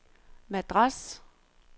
Madras